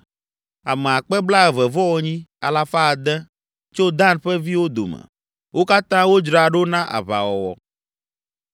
Ame akpe blaeve-vɔ-enyi, alafa ade (28,600) tso Dan ƒe viwo dome. Wo katã wodzra ɖo na aʋawɔwɔ.